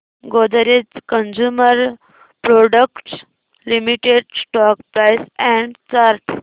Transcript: Godrej consumer products limited stock price and chart